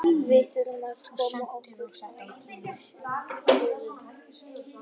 Við þurfum að koma okkur á sigurbraut.